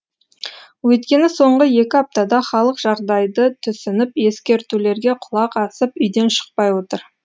өйткені соңғы екі аптада халық жағдайды түсініп ескертулерге құлақ асып үйден шықпай отыр